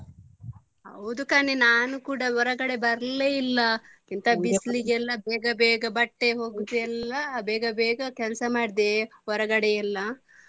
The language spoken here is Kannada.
ಹೌದು ಕಣೆ ನಾನು ಕೂಡ ಹೊರಗಡೆ ಬರ್ಲೆ ಇಲ್ಲ ಇಂತ ಬಿಸ್ಲಿಗೆಲ್ಲ ಬೇಗ ಬೇಗ ಬಟ್ಟೆ ಒಗ್ದು ಎಲ್ಲ ಬೇಗ ಬೇಗ ಕೆಲಸ ಮಾಡಿದೆ ಹೊರಗಡೆ ಎಲ್ಲ.